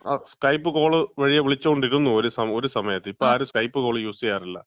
ആ Skype, Skype call വഴിയാ വിളിച്ചോണ്ടിരുന്നു. ഒരുസമയത്ത്. ഇപ്പം ആരും സ്കൈപ്പ് കോള് യൂസ് ചെയ്യാറില്ല.